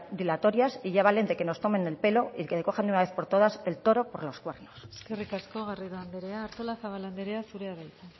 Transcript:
dilatorias y ya vale de que nos tomen el pelo y que cojan de una vez por todas al toro por los cuernos eskerrik asko garrido andrea artolazabal andrea zurea da hitza